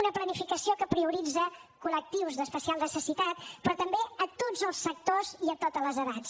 una planificació que prioritza col·lectius d’especial necessitat però també tots els sectors i totes les edats